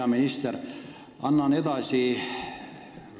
Hea minister!